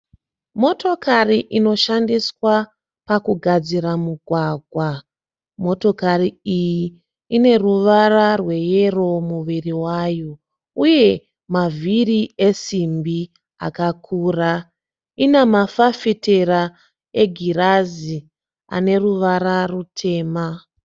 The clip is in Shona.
Motokari inoshandiswa pakugadzira mugwagwa . Motokari iyi ineruvara rweyero muviri wavo . Uye mavhiri esimbi akakura . Inamafafitera egirazi aneruvara rutema.